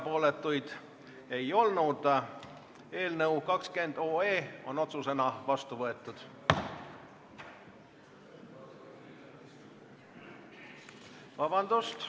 Poolt oli 72, vastuolijaid ega erapooletuid ei olnud.